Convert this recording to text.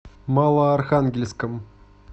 малоархангельском